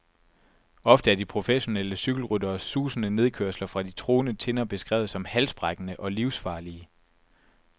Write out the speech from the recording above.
Ofte er de professionelle cykelrytteres susende nedkørsler fra de truende tinder beskrevet som halsbrækkende og livsfarlige.